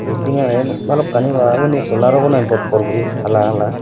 bilidng yaid balokkani wal ubani solar abow nahi bobbor guri hala hala.